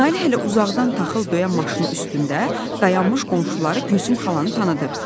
Nailə hələ uzaqdan taxıl döyən maşının üstündə dayanmış qonşuları Gülsüm xalanı tanıdı.